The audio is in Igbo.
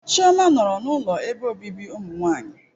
Chioma nọrọ n'ụlọ ebe obibi ụmụnwanyị.